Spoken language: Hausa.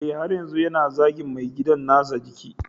Eh, har yanzu yana zagin mai gidan nasa a jiki